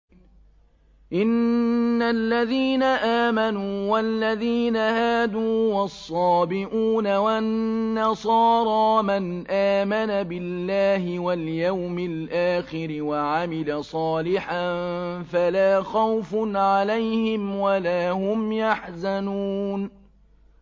إِنَّ الَّذِينَ آمَنُوا وَالَّذِينَ هَادُوا وَالصَّابِئُونَ وَالنَّصَارَىٰ مَنْ آمَنَ بِاللَّهِ وَالْيَوْمِ الْآخِرِ وَعَمِلَ صَالِحًا فَلَا خَوْفٌ عَلَيْهِمْ وَلَا هُمْ يَحْزَنُونَ